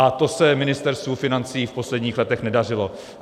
A to se Ministerstvu financí v posledních letech nedařilo.